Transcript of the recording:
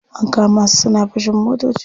An kama su suna fashin motoci.